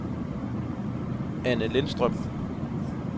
Anne Lindstrøm